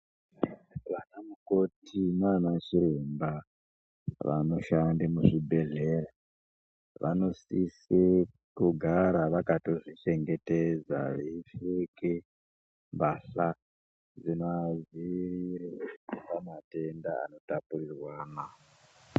Vanamukoti nanachiremba vanoshande muzvibhedhlera vanosise kugara vakatozvichengetedza. Veipfeke mbatya dzinoadzirire pamatenda anotapurirwana.